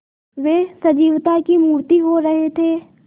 वे सजीवता की मूर्ति हो रहे थे